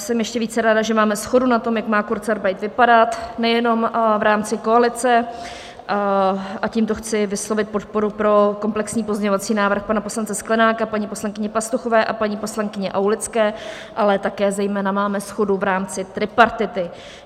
Jsem ještě více ráda, že máme shodu na tom, jak má kurzarbeit vypadat, nejenom v rámci koalice, a tímto chci vyslovit podporu pro komplexní pozměňovací návrh pana poslance Sklenáka, paní poslankyně Pastuchové a paní poslankyně Aulické, ale také zejména máme shodu v rámci tripartity.